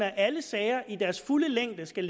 at alle sager i deres fulde længde skal